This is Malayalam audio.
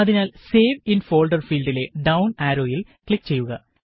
അതിനാല് സേവ് ഇന് ഫോള്ഡര് ഫീല്ഡിലെ ഡൌണ് ആരോയില് ക്ലിക് ചെയ്യുക